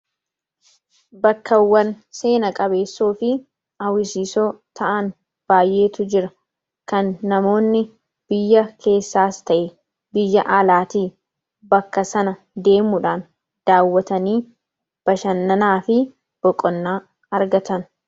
Bakkawwan seena qabeessoofi hawwisiisoo ta'an baayyeetu jira. Kan namoonni biyya keessaas ta'e biyya alaati, bakka sana deemuudhaan daawwatanii bashananaafi boqonnaa argatan.